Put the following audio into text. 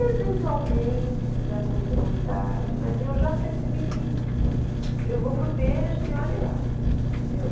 Eventualmente, se me der muita vontade, mas eu já percebi que eu vou para o peixe e olhe lá, entendeu?